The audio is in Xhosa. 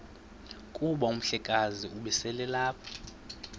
kuba umhlekazi ubeselelapha